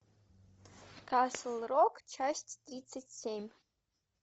касл рок часть тридцать семь